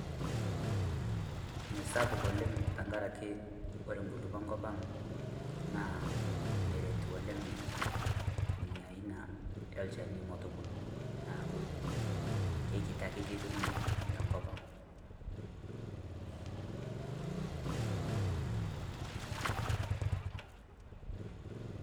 Mesapuk oleng tenkarake ore inkulukuok enkop ang naa meret oleng inia aina olchani metubulu, neaku kekiti akeyie duo ninye tenkop ang.